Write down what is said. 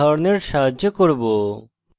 এটি একটি উদাহরণের দ্বারা করব